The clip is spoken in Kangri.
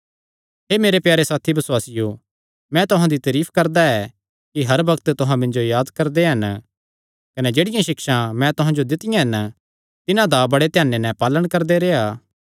हे मेरे प्यारे साथी बसुआसियो मैं तुहां दी तारीफ करदा ऐ कि हर बग्त तुहां मिन्जो याद करदे हन कने जेह्ड़ियां सिक्षां मैं तुहां जो दित्तियां हन तिन्हां दा बड़े ध्याने नैं पालण करदे रेह्आ